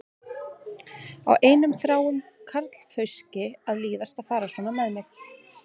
Á einum þráum karlfauski að líðast að fara svona með mig?